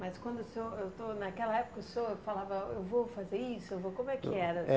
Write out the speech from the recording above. Mas quando o senhor ah to naquela época o senhor falava, eu vou fazer isso, eu vou, como é que era? É